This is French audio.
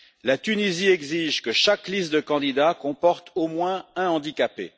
La Tunisie exige que chaque liste de candidats comporte au moins un handicapé.